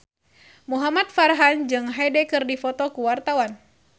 Muhamad Farhan jeung Hyde keur dipoto ku wartawan